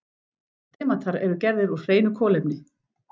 Demantar eru gerðir úr hreinu kolefni.